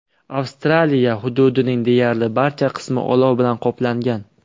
Avstraliya hududining deyarli barcha qismi olov bilan qoplangan.